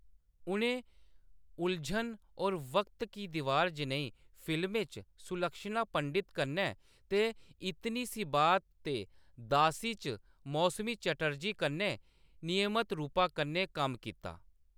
उʼनें उलझन और वक्त की दीवार जनेही फिल्में च सुलक्षणा पंडित कन्नै ते इतनी सी बात ते दासी च मौसमी चटर्जी कन्नै नियमत रूपा कन्नै कम्म कीता।